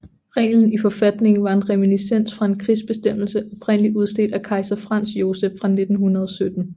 Reglen i forfatningen var en reminiscens fra en krigsbestemmelse oprindelig udstedt af kejser Franz Joseph fra 1917